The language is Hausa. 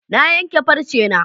Na yanke farcena.